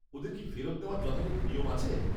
ওদের কি ফেরত নেওয়ার যথাযথ নিয়ম আছে?